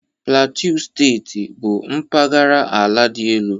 Plateau Steeti bụ mpaghara ala dị elu